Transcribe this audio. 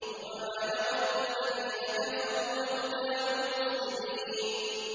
رُّبَمَا يَوَدُّ الَّذِينَ كَفَرُوا لَوْ كَانُوا مُسْلِمِينَ